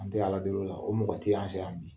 An tɛ ka ala deli o la bi, o mɔgɔ tɛ an sɛ yan bi.